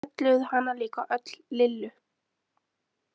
Þau kölluðu hana líka öll Lillu.